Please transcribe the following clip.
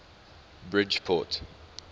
bridgeport